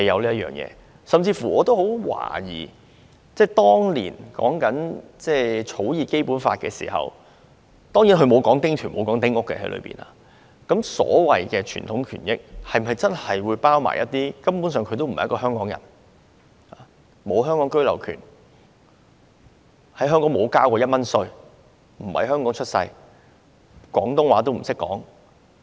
我甚至乎懷疑當年在草擬《基本法》的時候——當然《基本法》裏沒有說丁權、丁屋——所謂有傳統權益的居民，是否包括一些根本不是香港人，不是在香港出世，沒有香港居留權，在香港沒有繳交過任何稅款，不懂得說廣東話的人？